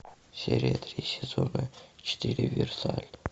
серия три сезона четыре версаль